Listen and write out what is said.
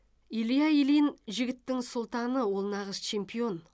илья ильин жігіттің сұлтаны ол нағыз чемпион